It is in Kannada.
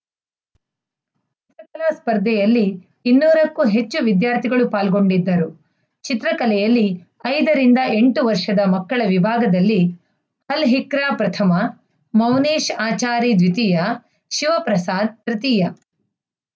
ಸ್ಪರ್ಧೆಯಲ್ಲಿ ಇನ್ನೂರ ಕ್ಕೂ ಹೆಚ್ಚು ವಿದ್ಯಾರ್ಥಿಗಳು ಪಾಲ್ಗೊಂಡಿದ್ದರು ಚಿತ್ರಕಲೆಯಲ್ಲಿ ಐದ ರಿಂದ ಎಂಟು ವರ್ಷದ ಮಕ್ಕಳ ವಿಭಾಗದಲ್ಲಿ ಅಲ್‌ಹಿಕ್ರಾ ಪ್ರಥಮ ಮೌನೇಶ್‌ ಆಚಾರಿದ್ವಿತೀಯ ಶಿವಪ್ರಸಾದ್‌ತೃತೀಯ